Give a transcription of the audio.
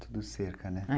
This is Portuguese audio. Tudo cerca, né?